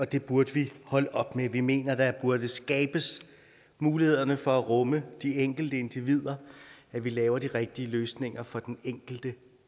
det burde vi holde op med vi mener der burde skabes mulighederne for at rumme de enkelte individer og at vi laver de rigtige løsninger for den enkelte